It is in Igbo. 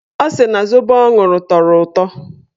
Ọ sị na zobo ọ ṅụrụ tọrọ ụtọ.